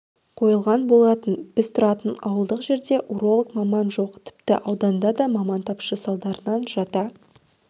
қойылған болатын біз тұратын ауылдық жерде уролог-маман жоқ тіпті ауданда да маман тапшы салдарынан жата